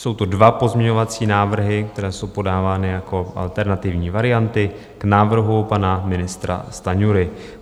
Jsou to dva pozměňovací návrhy, které jsou podávány jako alternativní varianty k návrhu pana ministra Stanjury.